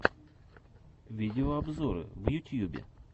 видеообзоры в ютьюбе